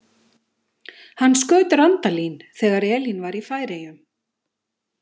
Hann skaut Randalín þegar Elín var í Færeyjum.